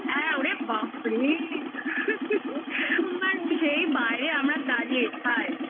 সেই বাইরে আমরা দাঁড়িয়ে ছাড় হুম